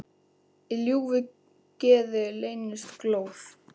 Í ljúfu geði leynist glóð.